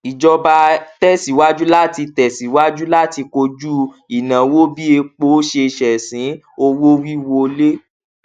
ìjọba tẹsíwájú láti tẹsíwájú láti kojú ìnáwó bí epo ṣe ṣẹsìn owówíwolé